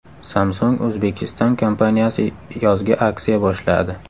Samsung Uzbekistan kompaniyasi yozgi aksiya boshladi.